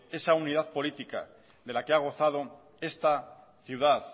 esa unidad política de la que ha gozado esta ciudad